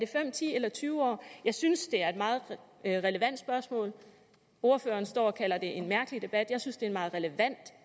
fem ti eller tyve år jeg synes det er et meget relevant spørgsmål ordføreren står og kalder det en mærkelig debat jeg synes det er en meget relevant